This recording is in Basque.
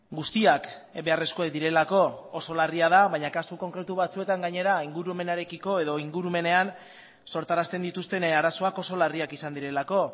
guztiak beharrezkoak direlako oso larria da baina kasu konkretu batzuetan gainera ingurumenarekiko edo ingurumenean sortarazten dituzten arazoak oso larriak izan direlako